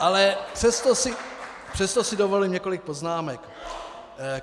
Ale přesto si dovolím několik poznámek.